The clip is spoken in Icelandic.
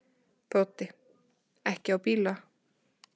Broddi: Ekki á bílana?